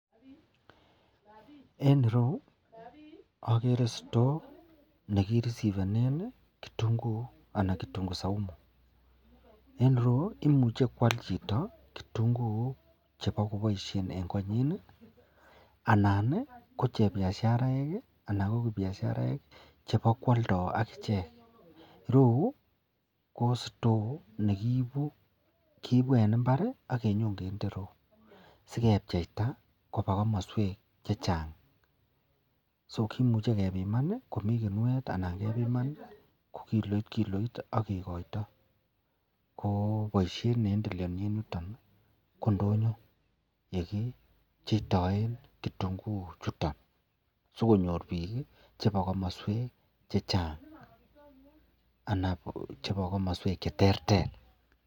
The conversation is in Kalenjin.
En ireyu agere store nekirisibenen kitunguik anan kitungu saumu en ireyu komuche kwal Chito kitunguik akobaishen en koanyin anan ko chebiasharaek anan ko kibiasharaek kobakwalda akichek royu ko store nekiibu en imbar akinyo kende ireyu akebcheita Koba kamaswek chechang so kimuche kebiman komiten kinuet anan kebiman ko kikoit kikoit agekoito kobaishen neendeleani en yuton ko ndonyo yekibcheitoyen kitunguik Chuton sikonyor bik chebo komoswek chechang anan kochebo kamaswek cheterter